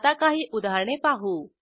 आता काही उदाहरणे पाहू